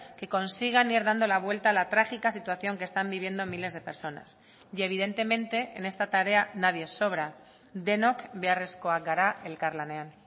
que consigan ir dando la vuelta a la trágica situación que están viviendo miles de personas y evidentemente en esta tarea nadie sobra denok beharrezkoak gara elkarlanean